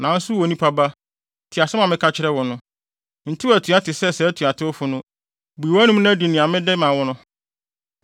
Nanso wo onipa ba, tie asɛm a meka kyerɛ wo no. Ntew atua te sɛ saa atuatewfo no; bue wʼanom na di nea mede ma wo no.”